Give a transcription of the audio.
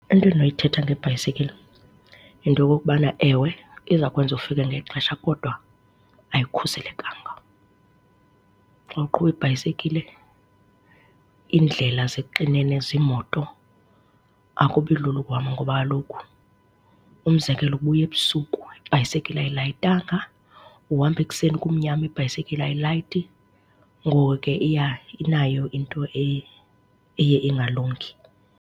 Into endinoyithetha ngebhayisekile yinto okokubana ewe, iza kwenza ufike ngexesha kodwa ayikhuselekanga. Xa uqhuba ibhayisekile, iindlela zixinene ziimoto, akubi lula ukuhamba ngoba kaloku umzekelo ubuya ebusuku, ibhayisekile ayilayitanga, uhamba ekuseni kumnyama, ibhayisekile ayilayiti. Ngoku ke iya, inayo into eye ingalungi.